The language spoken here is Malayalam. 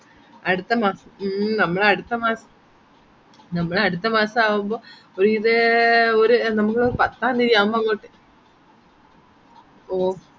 അടുത്തമാസം ഉം നമ്മൾ അടുത്തമാസം നമ്മൾ അടുത്തമാസമാവുമ്പോ ഒരു ഇത് നമുക്ക് പത്താം തീയ്യതി ആവുമ്പോ അങ്ങോട്ട ഓ